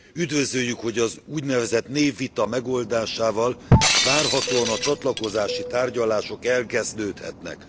Üdvözöljük, hogy az úgynevezett névvita megoldásával várhatóan a csatlakozási tárgyalások elkezdődhetnek.